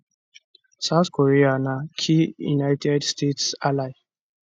south korea na key united states ally